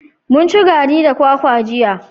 Mun ci gari da kwakwa jiya.